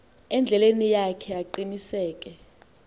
endleleni yakhe aqiniseke